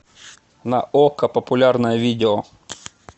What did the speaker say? на окко популярное видео